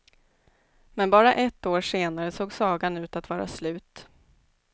Men bara ett år senare såg sagan ut att vara slut.